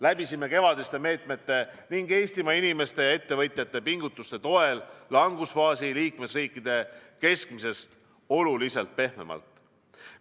Läbisime kevadiste meetmete ning Eestimaa inimeste ja ettevõtjate pingutuste toel langusfaasi liikmesriikide keskmisest oluliselt pehmemalt.